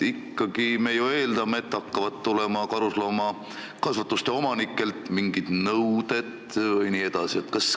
Me ikkagi ju eeldame, et karusloomakasvanduste omanikelt hakkavad tulema mingid nõuded jne.